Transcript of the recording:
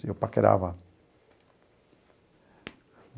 Eu paquerava.